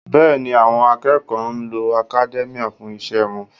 Bẹ́ẹ̀ni, àwọn akẹ́kọ̀ọ́ ń lo academia fún iṣẹ́ wọn